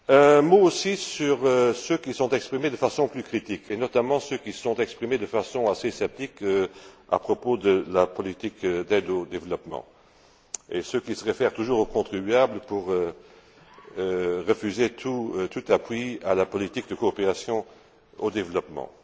Un mot aussi sur ceux qui se sont exprimés de façon plus critique, notamment ceux qui se sont exprimés de façon assez sceptique à propos de la politique d'aide au développement, et ceux qui se réfèrent toujours au contribuable pour refuser tout appui à la politique de coopération au développement.